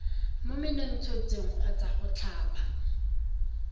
mo menontshetsong kgotsa go tlhaba